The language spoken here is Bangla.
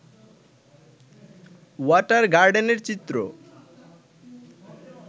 ওয়াটার গার্ডেনের চিত্র